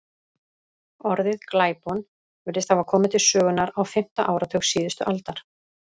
Orðið glæpon virðist hafa komið til sögunnar á fimmta áratug síðustu aldar.